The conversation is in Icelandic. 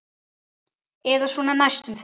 Eða svona næstum því.